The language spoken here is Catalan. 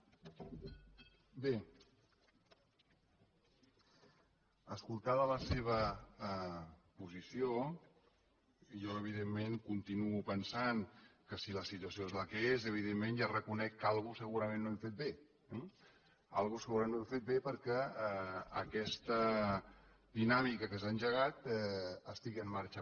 bé escoltada la seva posició jo evidentment continuo pensant que si la situació és la que és evidentment ja reconec que alguna cosa segurament no hem fet bé eh alguna cosa segurament no hem fet bé perquè aquesta dinàmica que s’ha engegat estigui en marxa